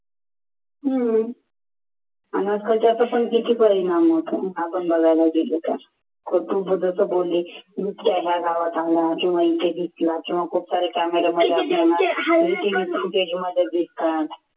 आणि आजकालच्या किती परिणाम होतात आपण बघायला गेलो तर हो तू जसं बोलली दिसतात